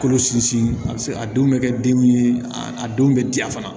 Kolo sinsin a be se a denw be kɛ den ye a denw be diya fana